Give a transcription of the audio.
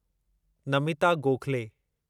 Namita Gokhale